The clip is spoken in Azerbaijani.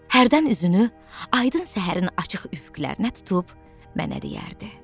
Hərdən üzünü aydın səhərin açıq üfüqlərinə tutub mənə deyərdi: